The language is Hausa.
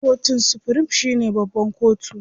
Kotun supirim shine babban kotu.